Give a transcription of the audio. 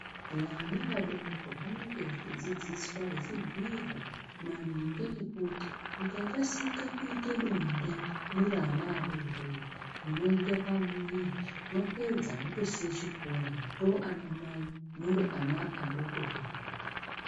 Vana vadoko vanenge vechidzidziswa vechibhuyirwa maringe nekuti mukakasike kuite bonde muri ana adoodori unoita pamuwiri mwapedza motosiya chikora mato anamai muri ana adoko doko.